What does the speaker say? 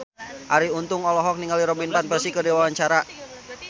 Arie Untung olohok ningali Robin Van Persie keur diwawancara